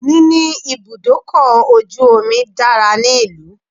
Níní ibùdókọ̀ ojù omi dára ní ìlú.